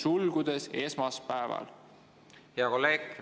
Hea kolleeg!